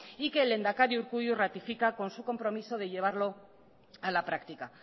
y que el lehendakari urkullu ratifica con su compromiso de llevarlo a la práctica